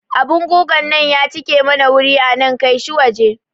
Abun gugan nan ya cike mana wuri anan, kaishi waje